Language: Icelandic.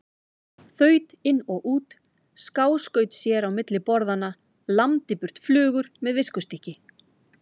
Þaut út og inn, skáskaut sér á milli borðanna, lamdi burt flugur með viskustykki.